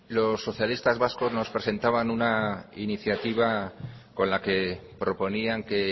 los socialistas vascos nos presentaban una iniciativa con la que proponían que